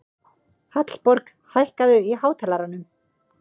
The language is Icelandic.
Hallborg, hækkaðu í hátalaranum.